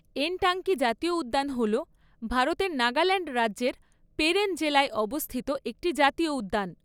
এনটাঙ্কি জাতীয় উদ্যান হল ভারতের নাগাল্যান্ড রাজ্যের পেরেন জেলায় অবস্থিত একটি জাতীয় উদ্যান।